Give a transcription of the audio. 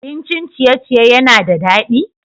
Abincin ciye-ciye yana da daɗi?